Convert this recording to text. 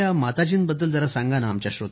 आपण आपल्या माताजींबद्दल जरा सांगा